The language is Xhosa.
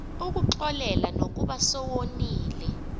ukuxolela nokuba sewoniwe